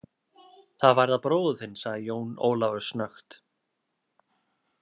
Það varðar bróður þinn, sagði Jón Ólafur snöggt.